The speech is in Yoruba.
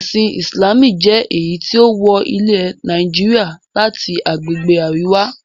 Ẹ̀sìn Ìsìlámù jẹ́ èyí tí ó wọ ilẹ̀ Nàìjíríà láti agbègbè Àríwá.